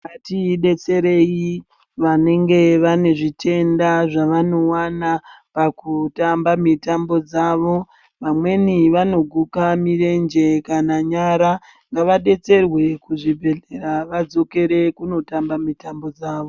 Ngatidetserei vanenge vane zvitenda zvavanowana pakutamba mitambo dzawo vamweni vanoguka mirenje kananyara ngavadetserwe kuzvibhehleya vadzokere kuunotamba mitambo dzawo.